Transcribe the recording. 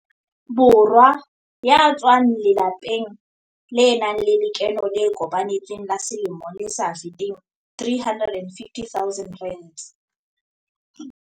Borwa ya tswang lelapeng le nang le lekeno le kopanetsweng la selemo le sa feteng R350 000.